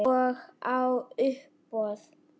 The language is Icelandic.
Og á uppboð.